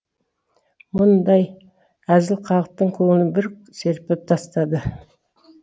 мұндай әзіл халықтың көңілін бір серпілтіп тастады